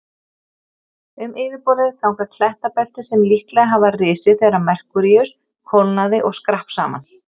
Um yfirborðið ganga klettabelti sem líklega hafa risið þegar Merkúríus kólnaði og skrapp saman.